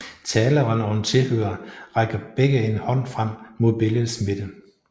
Taleren og en tilhører rækker begge en hånd frem mod billedets midte